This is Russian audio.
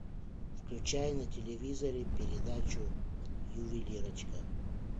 включай на телевизоре передачу ювелирочка